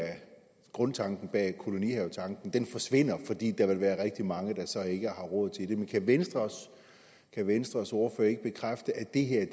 grundtanken bag kolonihavetanken forsvinder fordi der vil være rigtig mange der så ikke har råd til det kan venstres kan venstres ordfører ikke bekræfte at det her